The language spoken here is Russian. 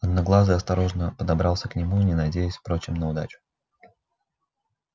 одноглазый осторожно подобрался к нему не надеясь впрочем на удачу